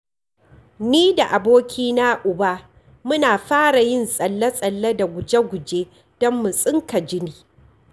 Ni da abokina Uba muna fara yin tsalle-tsalle da guje-guje don mu tsinka jini.